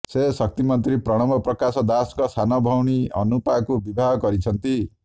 ସେ ଶକ୍ତିମନ୍ତ୍ରୀ ପ୍ରଣବ ପ୍ରକାଶ ଦାସଙ୍କ ସାନଭଉଣୀ ଅନୁପାଙ୍କୁ ବିବାହ କରିଛନ୍ତି